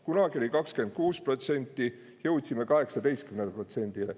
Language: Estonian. Kunagi oli 26%, jõudsime 18%-le.